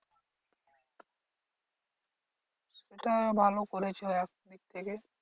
এটা ভালো করেছে ও একদিক থেকে।